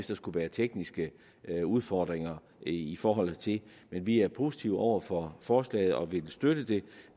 der skulle være tekniske udfordringer i forhold til det vi er positive over for forslaget og vil støtte det